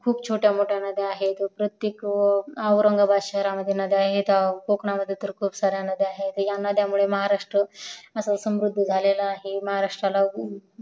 खूप छोट्या मोठ्या नद्या आहेत प्रत्येक औटांगाबाद शहरात नद्या आहेत कोकणात वैदर्भा खूप सार्‍या नद्या आहेत हया नद्या मुळे महारास्त्र सुखद सरूद्ध झालेला आहे महारास्त्राला